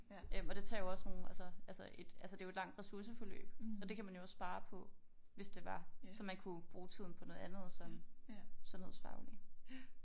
Og det tager jo også nogle altså altså et altså det jo et langt ressourceforløb og det kan man jo også spare på hvis det var så man kunne bruge tiden på noget andet som sundhedsfaglig